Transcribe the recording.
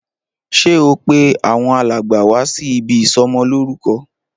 Ṣé o pé àwọn alàgbà wá sí ibí ìsọmọ lórúkọ?